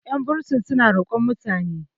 yan bursin suna roƙon mutane